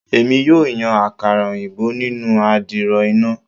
Emi yoo yan akara oyinbo ninu adiro ina